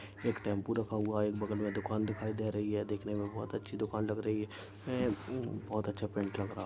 एक टेंपू रखा हुआ है बगल मे दुकान दिखाई दे रही है देखने मे बहुत अच्छी दुकान लग रही है बोहोत अच्छा पैंट लग रहा--